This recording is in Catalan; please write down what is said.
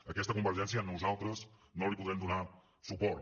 a aquesta convergència nosaltres no hi podrem donar suport